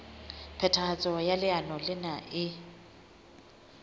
phethahatso ya leano lena e